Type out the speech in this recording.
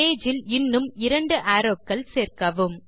page இல் இன்னும் இரண்டு அரோவ்ஸ் சேர்க்கவும்